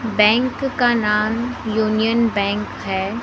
Bank का नाम union bank है।